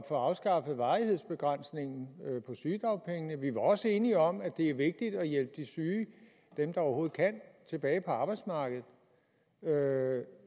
få afskaffet varighedsbegrænsningen i sygedagpengene vi var også enige om at det er vigtigt at hjælpe de syge dem der overhovedet kan tilbage på arbejdsmarkedet